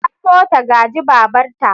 Ta so ta gaji babarta.